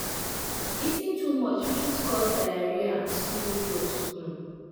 eating too much fit cause diarrhea and slow growth um